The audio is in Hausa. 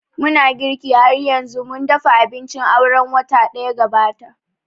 Muna girki har yanzu, mun dafa abincin aure watan daya gabata